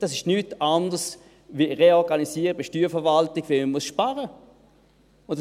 Es ist nichts anderes als eine Reorganisation der Steuerverwaltung, weil man sparen muss.